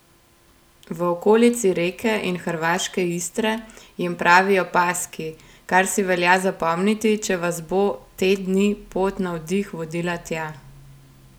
V okolici Reke in hrvaške Istre jim pravijo paski, kar si velja zapomniti, če vas bo te dni pot na oddih vodila tja.